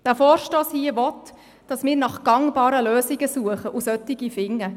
Dieser Vorstoss hier will, dass wir nach gangbaren Lösungen suchen und solche finden.